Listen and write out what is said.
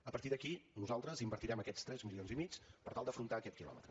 a partir d’aquí nosaltres invertirem aquests tres milions i mig per tal d’afrontar aquest quilòmetre